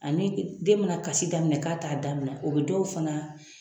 Ani den mana kasi daminɛ k'a t'a dabila o bɛ dɔw fana